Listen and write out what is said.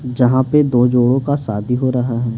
जहां पे दो जोड़ों का शादी हो रहा है।